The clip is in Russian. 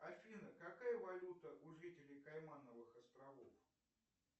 афина какая валюта у жителей каймановых островов